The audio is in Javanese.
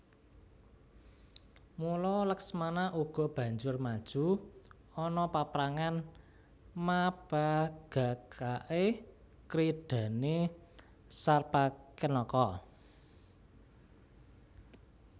Mula Laksmana uga banjur maju ana paprangan mapagagaké kridhané Sarpakenaka